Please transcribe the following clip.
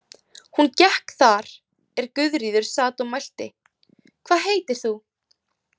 Hún gekk þar er Guðríður sat og mælti: „Hvað heitir þú“?